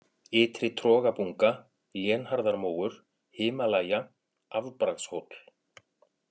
Ytri-Trogabunga, Lénharðarmóur, Himalæja, Afbragðshóll